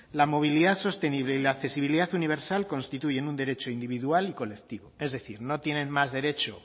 la movilidad sostenible y la accesibilidad universal constituyen un derecho individual y colectivo es decir no tienen más derecho